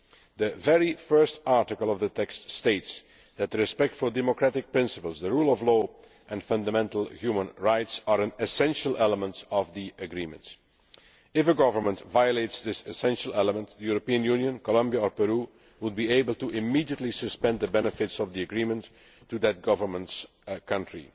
The very first article of the text states that respect for democratic principles, the rule of law and fundamental human rights is an essential element of the agreement. If a government violates this essential element, the European Union, Colombia or Peru would be able immediately to suspend the benefits of the agreement to that government's country.